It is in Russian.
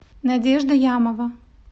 надежда ямова